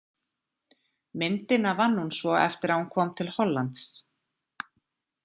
Myndina vann hún svo eftir að hún kom til Hollands.